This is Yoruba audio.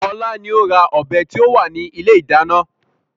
Ọlá ni ó ra ọ̀bẹ tí ó wà ní ilé ìdáná.